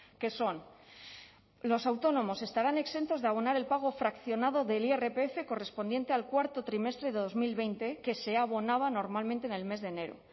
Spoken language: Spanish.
que son los autónomos estarán exentos de abonar el pago fraccionado del irpf correspondiente al cuarto trimestre de dos mil veinte que se abonaba normalmente en el mes de enero